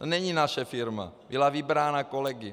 To není naše firma, byla vybrána kolegy.